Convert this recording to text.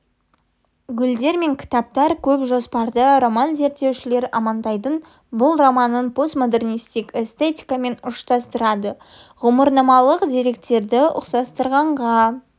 гүлдер мен кітаптар көп жоспарды роман зерттеушілер амантайдың бұл романын постмодернистік эстетикамен ұштастырады ғұмырнамалық деректердегі ұқсастықтарға